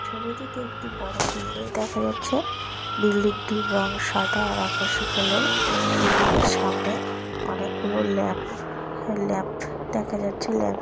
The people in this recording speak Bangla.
ছবিটিতে একটি বড়ো বিল্ডিং দেখা যাচ্ছে । বিল্ডিংটির রং সাদা আর আকাশী কালার । বিল্ডিং -এর সামনে অনেক গুলো ল্যাম্প ল্যাম্প দেখা যাচ্ছে। ল্যাম্প ।